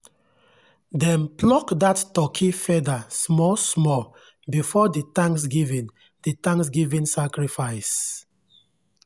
dem pluck that turkey feather small small before the thanksgiving the thanksgiving sacrifice.